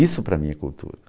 Isso para mim é cultura.